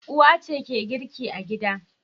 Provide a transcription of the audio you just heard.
Uwa ce girki a gida.